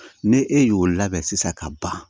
Ni e y'o labɛn sisan ka ban